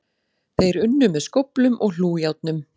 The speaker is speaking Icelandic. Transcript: Þeir unnu með skóflum og hlújárnum